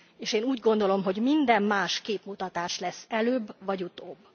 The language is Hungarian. És én úgy gondolom, hogy minden más képmutatás lesz előbb vagy utóbb.